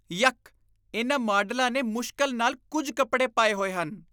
ਯੱਕ! ਇਨ੍ਹਾਂ ਮਾਡਲਾਂ ਨੇ ਮੁਸ਼ਕਿਲ ਨਾਲ ਕੁੱਝ ਕੱਪੜੇ ਪਾਏ ਹੋਏ ਹਨ।